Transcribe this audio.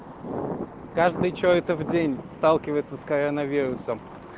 каждый что это в день сталкивается с коронавирусом